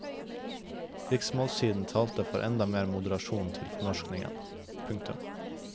Riksmålssiden talte for enda mer moderasjon i fornorskningen. punktum